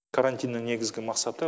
карантиннің негізгі мақсаты